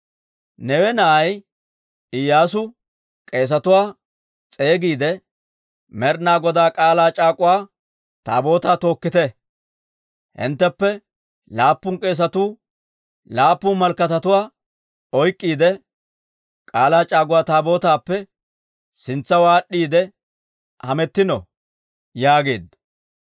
Neewe na'ay Iyyaasu k'eesetuwaa s'eegiide, «Med'ina Godaa K'aalaa c'aak'uwa Taabootaa tookkite; hintteppe laappun k'eesatuu laappun malakatatuwaa oyk'k'iide, K'aalaa c'aak'uwa Taabootaappe sintsaw aad'd'iide hamettino» yaageedda.